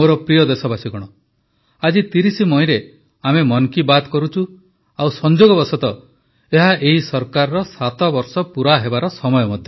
ମୋର ପ୍ରିୟ ଦେଶବାସୀଗଣ ଆଜି 30 ମଇରେ ଆମେ ମନ୍ କୀ ବାତ୍ କରୁଛୁ ଆଉ ସଂଯୋଗବଶତଃ ଏହା ଏହି ସରକାରର 7 ବର୍ଷ ପୁରା ହେବାର ମଧ୍ୟ ସମୟ